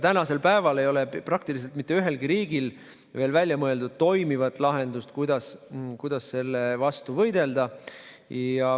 Tänaseks päevaks ei ole praktiliselt mitte ühelgi riigil veel välja mõeldud toimivat lahendust, kuidas selle vastu võidelda.